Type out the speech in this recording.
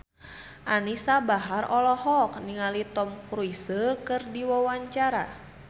Anisa Bahar olohok ningali Tom Cruise keur diwawancara